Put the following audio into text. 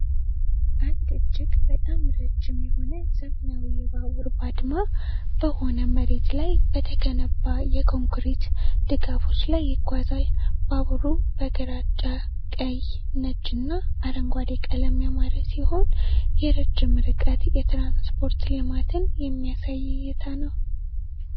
አንድ እጅግ በጣም ረዥም የሆነ ዘመናዊ ባቡር ባድማ በሆነ መሬት ላይ በተገነባ የኮንክሪት ድጋፎች ላይ ይጓዛል። ባቡሩ በግራጫ፣ ቀይ፣ ነጭ እና አረንጓዴ ቀለም ያማረ ሲሆን፣ የረጅም ርቀት የትራንስፖርት ልማትን የሚያሳይ እይታ ነው።